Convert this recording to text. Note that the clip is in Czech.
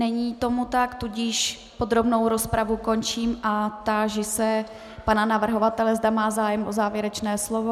Není tomu tak, tudíž podrobnou rozpravu končím a táži se pana navrhovatele, zda má zájem o závěrečné slovo.